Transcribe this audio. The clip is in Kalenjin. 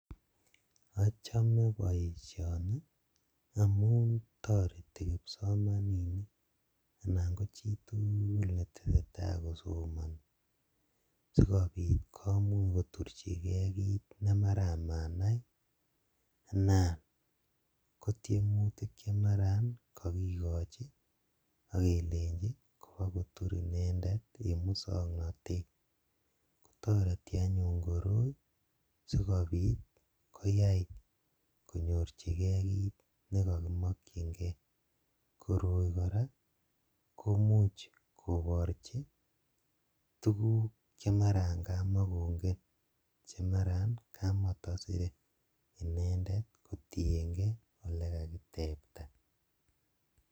Achome boishoni amuun toretii kipsomaninik anan ko chitukul netesetai kosomonii sikobiit kimuuch koturchikee kiit nemaran manaii anan kotiemutik chemaran kokikochi okelenchi kobokotur inendet en muswoknotet, kotoreti anyun koroi sikobit koyai konyorchikee kiit nekokimokying'e, koroi kora komuuch koborchi tukuk chemaran kamakong'en chemaran kamotosire inendet kotieng'e olekakitebta.